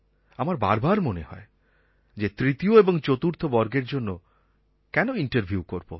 আমার বারবার মনে হয় যে তৃতীয় এবং চতুর্থ বর্গের জন্য কেন ইন্টারভিউ করব